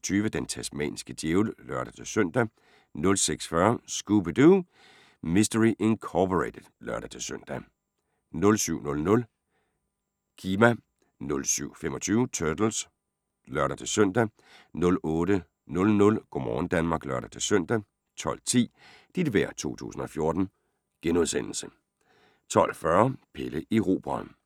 06:20: Den tasmanske djævel (lør-søn) 06:40: Scooby-Doo! Mystery Incorporated (lør-søn) 07:00: Chima (lør-søn) 07:25: Turtles (lør-søn) 08:00: Go' morgen Danmark (lør-søn) 12:10: Dit vejr 2014 * 12:40: Pelle Erobreren